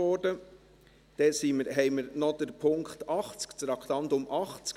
Dann haben wir noch das Traktandum 80.